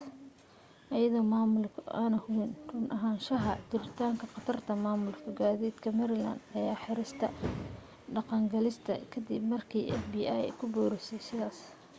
iyadoo maamulku aanu hubin run ahaanshaha jiritaanka khatarta maamulka gaadiidka maryland ayaa xirista dhaqangelista ka dib markii ay fbi ku boorisay sidaas